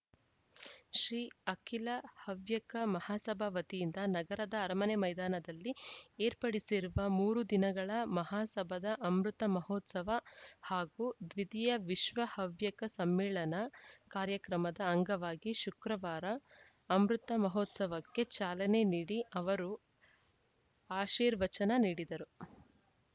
ಶ್ರೀ ಅಖಿಲ ಹವ್ಯಕ ಮಹಸಭಾ ವತಿಯಿಂದ ನಗರದ ಅರಮನೆ ಮೈದಾನದಲ್ಲಿ ಏರ್ಪಡಿಸಿರುವ ಮೂರು ದಿನಗಳ ಮಹಾಸಭಾದ ಅಮೃತ ಮಹೋತ್ಸವ ಹಾಗೂ ದ್ವಿತೀಯ ವಿಶ್ವ ಹವ್ಯಕ ಸಮ್ಮೇಳನ ಕಾರ್ಯಕ್ರಮದ ಅಂಗವಾಗಿ ಶುಕ್ರವಾರ ಅಮೃತ ಮಹೋತ್ಸವಕ್ಕೆ ಚಾಲನೆ ನೀಡಿ ಅವರು ಆಶೀರ್ವಚನ ನೀಡಿದರು